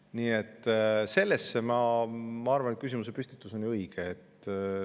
Nii et ma arvan, et küsimuse püstitus on õige.